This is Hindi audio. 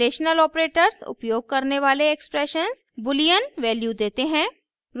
रिलेशनल ऑपरेटर्स उपयोग करने वाले एक्सप्रेशंस boolean वैल्यू देते हैं